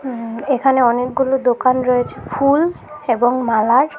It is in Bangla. উ এখানে অনেকগুলো দোকান রয়েছে ফুল এবং মালার।